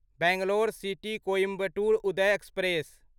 Bangalore City Coimbatore Uday express